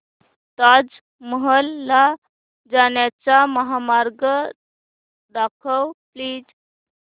ताज महल ला जाण्याचा महामार्ग दाखव प्लीज